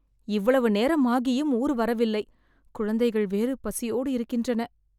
இவ்வளவு நேரம் ஆகியும் ஊர் வரவில்லை.. குழந்தைகள் வேறு பசியோடு இருக்கின்றன